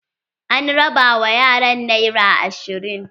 An raba wa yaran nera ashirin.